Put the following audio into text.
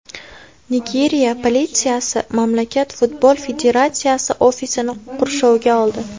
Nigeriya politsiyasi mamlakat futbol federatsiyasi ofisini qurshovga oldi.